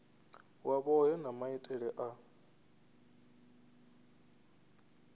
wa vhohe na maitele a